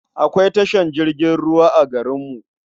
Akwai tashar jirgin ruwa a garinmu.